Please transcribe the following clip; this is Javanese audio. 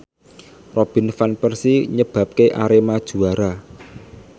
Robin Van Persie nyebabke Arema juara